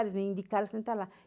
Eles me indicaram a sentar lá.